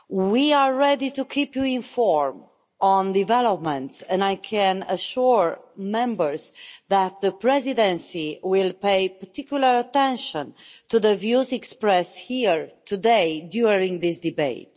We are ready to keep you informed on developments, and I can assure Members that the Presidency will pay particular attention to the views expressed here today during this debate.